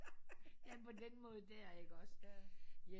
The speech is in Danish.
Ja på den måde der ikke også